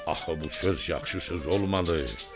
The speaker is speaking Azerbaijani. Axı bu söz yaxşı söz olmadı.